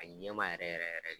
A ɲɛmaa yɛrɛ yɛrɛ yɛrɛ